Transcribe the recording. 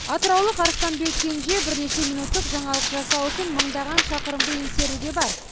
атыраулық арыстанбек кенже бірнеше минуттық жаңалық жасау үшін мыңдаған шақырымды еңсеруге бар